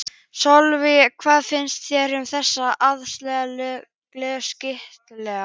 Sölvi, hvað finnst þér um þessar aðgerðir lögreglu og skattayfirvalda?